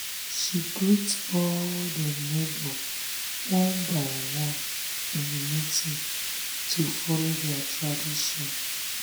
she greet all um dem neighbor one by one um in the meeting to um follow their tradition.